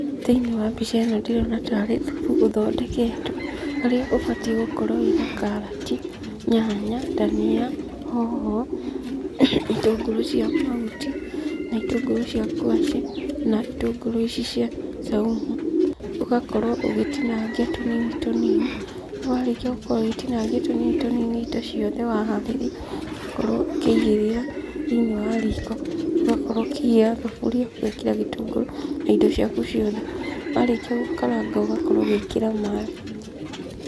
Thĩinĩ wa mbica ĩno ndĩrona taarĩ thubu ũthondeketwo, harĩa ũbatie gũkorwo wĩna karati, nyanya, dania, hoho, itũngũrũ cia mahuti na itũngũrũ cia ngwacĩ, na itũngũrũ ici cia saumu. Ũgakorwo ũgĩtinangia tũnini tũnini. Warĩkia gũkorwo ũgĩtinangia tũnini tũnini indo ciothe, waharĩria, ũgakorwo ũkĩigĩrĩra thĩinĩ wa riko. Ũgakorwo ũkĩigĩrĩra thaburia, ũgekĩra gĩtungũrũ na indo ciaku ciothe. Warĩkia gũkaranga ũgakorwo ũgĩkĩra maaĩ.